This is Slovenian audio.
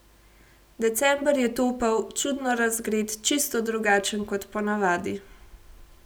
December je topel, čudno razgret, čisto drugačen kot po navadi.